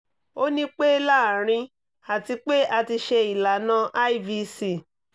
o ni pe laarin ati pe a ti ṣe ilana ivc